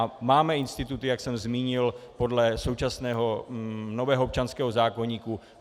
A máme instituty, jak jsem zmínil, podle současného nového občanského zákoníku.